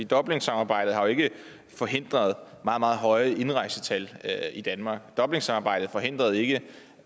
dublinsamarbejdet har jo ikke forhindret meget meget høje indrejsetal i danmark dublinsamarbejdet forhindrede ikke